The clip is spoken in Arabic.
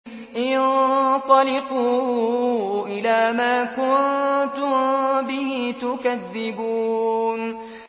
انطَلِقُوا إِلَىٰ مَا كُنتُم بِهِ تُكَذِّبُونَ